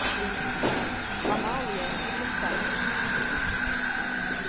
Amalie Hillestad